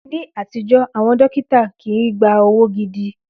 Ní àtijọ́, àwọn dókítà kii gba owó gidi